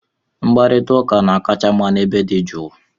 Mkparịta ụka na-akacha mma n'ebe dị jụụ